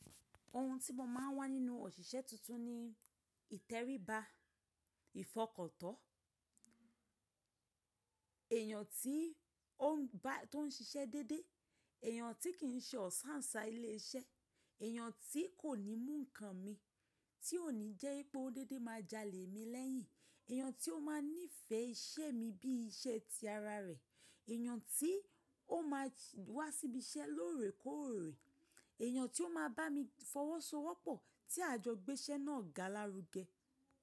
Ohun tí mo máa ń wá nínú òṣìṣẹ́ tuntun ni ìtẹríba, ìfọkàntọ́, èyàn tí ó ń ba tó ń ṣiṣẹ́ déédé, èyàn tí kì í ṣe ọ̀sáǹsá ilé iṣẹ́, èyàn tí kò ní mú nǹkan mi tí òní jẹ́ wipé ó n déédé máa jalè mi lẹ́yìn, èyàn tí ó máa nífẹ̀ẹ́ iṣẹ́ mi bí iṣẹ́ ti ara rẹ̀, èyàn tí ó máa wá síbi iṣẹ́ lóòrèkóòrè, èyàn tí ó máa bá mi fọwọ́sowọ́pọ̀ tí àjọgbé iṣẹ́ náà ga lárugẹ.